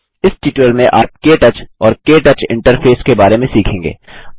इस ट्यूटोरियल में आप के टच और के टच इंटरफेस के बारे में सीखेंगे